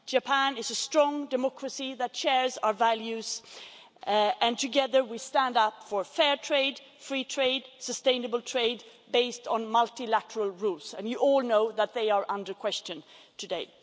Japan is a strong democracy that shares our values, and together we stand for fair trade, free trade and sustainable trade, based on multilateral rules and you all know that they are under question today.